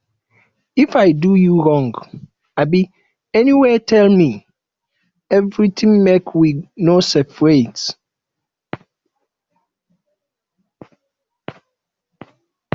if i do you wrong um anywhere tell me everything make we no seperate